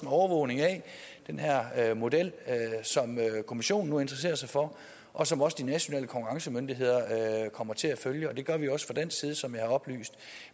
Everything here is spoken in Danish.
overvågning af den her model som kommissionen interesserer sig for og som også de nationale konkurrencemyndigheder kommer til at følge og det gør vi også fra dansk side som jeg har oplyst